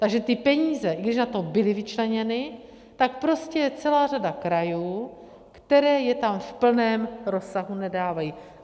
Takže ty peníze, i když na to byly vyčleněny, tak prostě je celá řada krajů, které je tam v plném rozsahu nedávají.